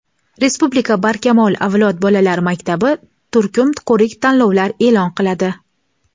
Respublika "Barkamol avlod" bolalar maktabi turkum ko‘rik-tanlovlar e’lon qiladi!.